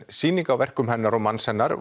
sýning á verkum hennar og manns hennar